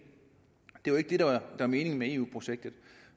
det var ikke det der var meningen med eu projektet